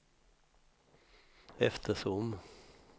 eftersom